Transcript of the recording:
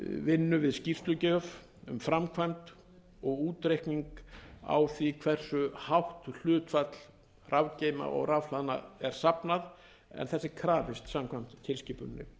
vinnu við skýrslugjöf um framkvæmd og útreikning á því hversu hátt hlutfall rafgeyma og rafhlaðna er safnað en þess er krafist samkvæmt tilskipuninni